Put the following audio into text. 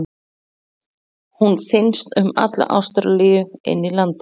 Hún finnst um alla Ástralíu inni í landi.